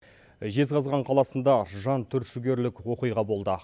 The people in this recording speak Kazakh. жезқазған қаласында жантүршігерлік оқиға болды